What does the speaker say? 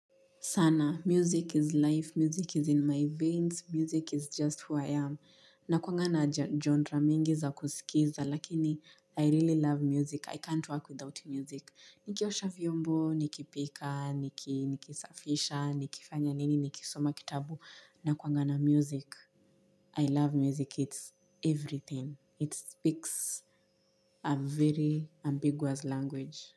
Sana, music is life, music is in my veins, music is just who I am. Nakuwanga na genre mingi za kusikiza, lakini I really love music, i can't work without music. Niki osha vyombo, nikipika, nikisafisha, nikifanya nini, nikisoma kitabu, nakuwanga na music. I love music, it's everything. It speaks a very ambiguous language.